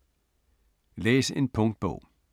Læs en punktbog